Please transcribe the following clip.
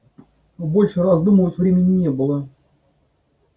больше раздумывать времени не было